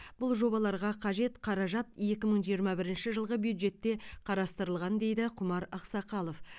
бұл жобаларға қажет қаражат екі мың жиырма бірінші жылғы бюджетте қарастырылған дейді құмар ақсақалов